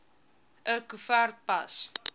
l koevert pas